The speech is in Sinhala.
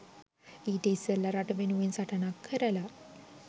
ඊට ඉස්සෙල්ලා රට වෙනුවෙන් සටනක් කරලා